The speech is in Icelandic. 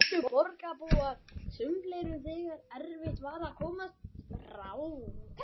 Þar eyddu borgarbúar sumarleyfum þegar erfitt var að komast frá